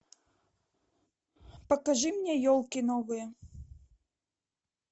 покажи мне елки новые